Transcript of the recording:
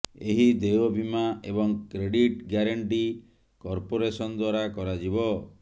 ଏହି ଦେୟ ବୀମା ଏବଂ କ୍ରେଡିଟ୍ ଗ୍ୟାରେଣ୍ଟି କର୍ପୋରେସନ୍ ଦ୍ୱାରା କରାଯିବ